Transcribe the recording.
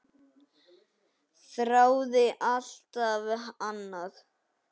Þráði alltaf annað.